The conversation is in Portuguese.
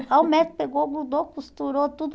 Aí o médico pegou, grudou, costurou tudo.